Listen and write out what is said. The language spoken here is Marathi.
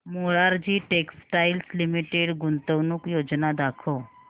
मोरारजी टेक्स्टाइल्स लिमिटेड गुंतवणूक योजना दाखव